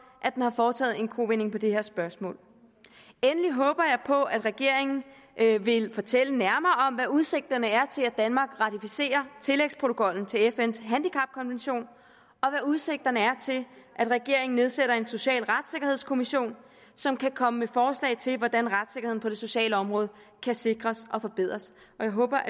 den har foretaget en kovending i det her spørgsmål endelig håber jeg på at regeringen vil fortælle nærmere om hvad udsigterne er til at danmark ratificerer tillægsprotokollen til fns handicapkonvention og hvad udsigterne er til at regeringen nedsætter en social retssikkerhedskommission som kan komme med forslag til hvordan retssikkerheden på det sociale område kan sikres og forbedres jeg håber